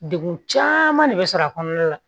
Degun caman de bɛ sɔrɔ a kɔnɔna la